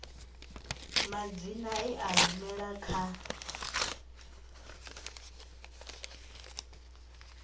madzina i a rumela kha